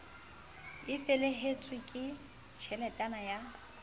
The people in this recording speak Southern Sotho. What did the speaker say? c felehetswe ke tjheletana ya